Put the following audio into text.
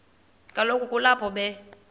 kaloku kulapho be